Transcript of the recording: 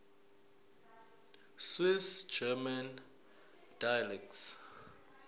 swiss german dialects